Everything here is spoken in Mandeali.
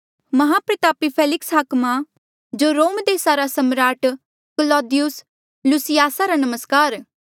माहप्रतापी फेलिक्स हाकमा जो रोम देसा रा सम्राट क्लौदियुस लुसियासा रा नमस्कार